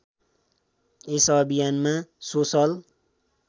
यस अभियानमा सोसल